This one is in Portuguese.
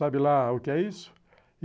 Sabe lá o que é isso?